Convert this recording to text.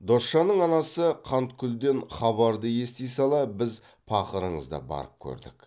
досжанның анасы қаныткүлден хабарды ести сала біз пақырыңыз да барып көрдік